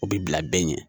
O bi bila bɛɛ ɲɛ